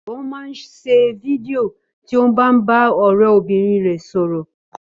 Ó máa ń ṣe fídíò tí ó ń bá ọ̀rẹ́bìnrin rẹ̀ sọ̀rọ̀